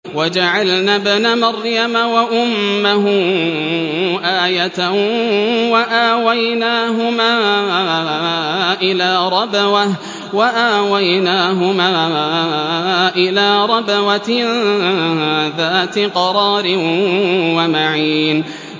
وَجَعَلْنَا ابْنَ مَرْيَمَ وَأُمَّهُ آيَةً وَآوَيْنَاهُمَا إِلَىٰ رَبْوَةٍ ذَاتِ قَرَارٍ وَمَعِينٍ